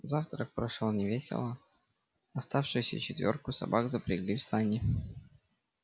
завтрак прошёл невесело оставшуюся четвёрку собак запрягли в сани